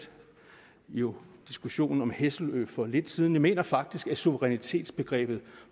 jo diskussionen om hesselø for lidt siden jeg mener faktisk at suverænitetsbegrebet